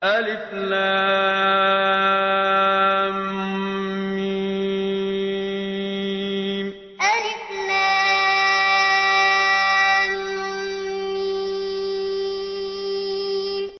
الم الم